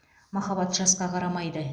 махаббат жасқа қарамайды